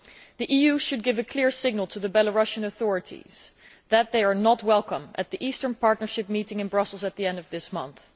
The EU should give a clear signal to the Belarusian authorities that they are not welcome at the Eastern Partnership meeting in Brussels at the end of this month.